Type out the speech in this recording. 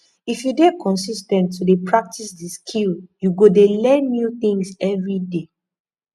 if you de consis ten t to de practice di skill you go de learn new things everyday